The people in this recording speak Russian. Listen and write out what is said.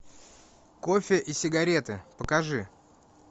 кофе и сигареты покажи